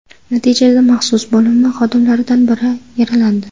Natijada maxsus bo‘linma xodimlaridan biri yaralandi.